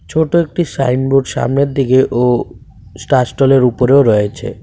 ছোট একটি sign board সামনের দিকে ও স্টা স্টলের উপরেও রয়েছে।